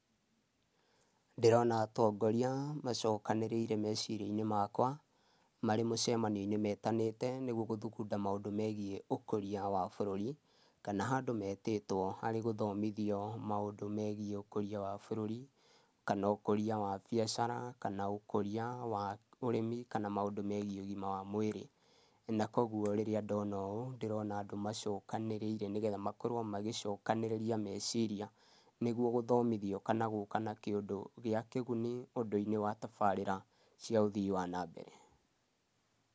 Ndĩrona atongoria macokanĩrĩire, meciria-inĩ makwa, marĩ mũcemanio-inĩ, metanĩte nĩguo gũthugunda maũndũ megiĩ ũkũria wa bũrũri, kana handũ metĩtwo arĩ gũthomithio maũndũ megiĩ ũkũria wa bũrũri, kana ũkũria wa biacara, kana ũkũria wa ũrĩmi, kana maũndũ megiĩ ũgima wa mwĩrĩ. Na koguo rĩrĩa ndona ũũ ndĩrona andũ macokanĩrĩire, nĩgetha makorwo magĩcokanĩrĩria meciria nĩguo gũthomithio, kana gũka na kĩũndũ gĩa kĩguni ũndũ-inĩ wa tabarĩra cia ũthii wa na mbere.